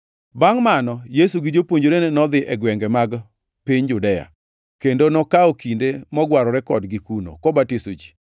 Bangʼ mano, Yesu gi jopuonjrene nodhi e gwenge mag piny Judea, kendo nokawo kinde mogwarore kodgi kuno, kobatiso ji.